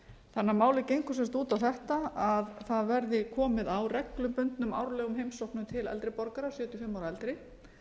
að málið gengur sem sagt út á þetta að það verði komið á reglubundnum árlegum heimsóknum til eldri borgara sjötíu og fimm ára og eldri